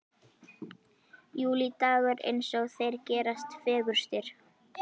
Júlídagur eins og þeir gerast fegurstir.